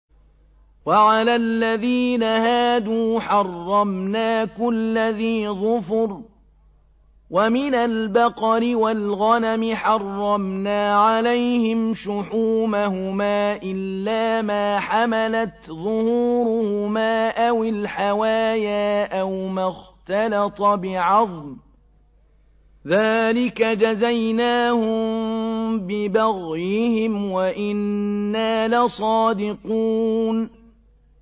وَعَلَى الَّذِينَ هَادُوا حَرَّمْنَا كُلَّ ذِي ظُفُرٍ ۖ وَمِنَ الْبَقَرِ وَالْغَنَمِ حَرَّمْنَا عَلَيْهِمْ شُحُومَهُمَا إِلَّا مَا حَمَلَتْ ظُهُورُهُمَا أَوِ الْحَوَايَا أَوْ مَا اخْتَلَطَ بِعَظْمٍ ۚ ذَٰلِكَ جَزَيْنَاهُم بِبَغْيِهِمْ ۖ وَإِنَّا لَصَادِقُونَ